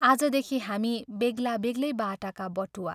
आजदेखि हामी बेग्ला बेग्लै बाटाका बटुवा।